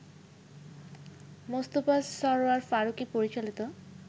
মোস্তফা সরয়ার ফারুকী পরিচালিত